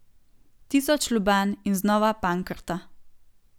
Tisoč lobanj in znova pankrta.